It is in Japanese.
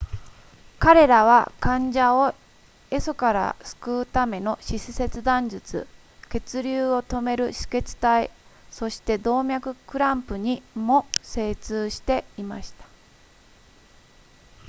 彼らは患者を壊疽から救うための四肢切断術血流を止める止血帯そして動脈クランプにも精通していました